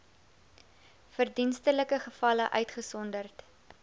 verdienstelike gevalle uitgesonderd